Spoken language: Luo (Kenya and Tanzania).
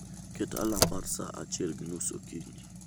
Ket alarm mar saa achiel gi nus okinyi